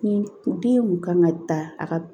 Ni den kun kan ka ta a ka